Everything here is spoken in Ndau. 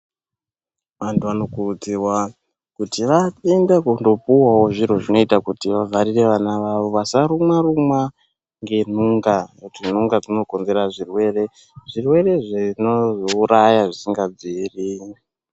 Antu anokurudzirwa kuti aende kundopuwawo zviro zvinoitawo kuti vavharire vana vavo vasarumwa rumwa ngenhunga ntunga dzinokonzera zvirwere zvirwere zvinozouraya zvisingabviri.